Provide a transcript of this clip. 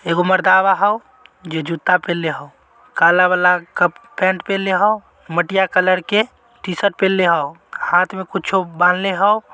यह मर्दावा हौ ये जूता पेनहले हौ। काला वाला का पेन्ट पेनहले हौ मटिया कलर के टी-शर्ट पहनले हौ हाथ में कुछ बंधले हौ।